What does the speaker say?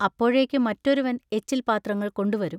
അപ്പോഴേക്കു മറെറാരുവൻ എച്ചിൽപാത്രങ്ങൾ കൊണ്ടുവരും.